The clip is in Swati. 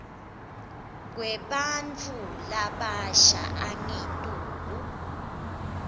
kwebantfu labasha angetulu